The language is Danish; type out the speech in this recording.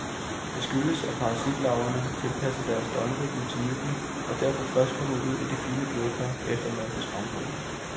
Det skyldes, at parasitlarverne har tilpasset deres døgnrytme til myggene, og derfor først kommer ud i de fine blodkar efter mørkets frembrud.